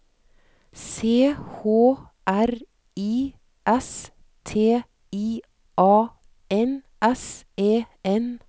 C H R I S T I A N S E N